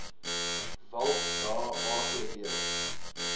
walt da agb